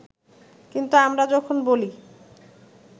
কিন্তু আমরা যখন বলি